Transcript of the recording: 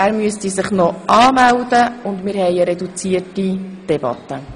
Wir führen eine reduzierte Debatte.